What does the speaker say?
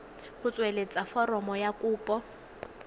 go tsweletsa foromo ya kopo